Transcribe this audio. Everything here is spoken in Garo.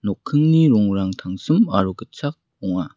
rongrang tangsim aro gitchak ong·a.